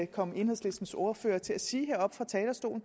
kom enhedslistens ordfører til at sige heroppe fra talerstolen